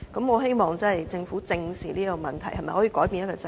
我希望政府正視這個問題，改變這個制度。